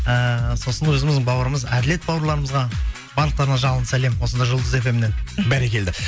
ыыы сосын өзіміздің бауырымыз әділет бауырларымызға барлықтарына жалынды сәлем осында жұлдыз фмнен бәрекелді